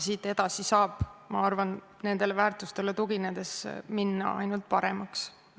Siit edasi saab, ma arvan, nendele väärtustele tuginedes minna ainult paremaks.